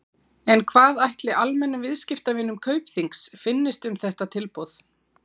En hvað ætli almennum viðskiptavinum Kaupþings finnist um þetta tilboð?